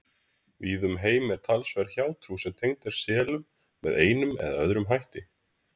Víða um heim er talsverð hjátrú sem tengd er selum með einum eða öðrum hætti.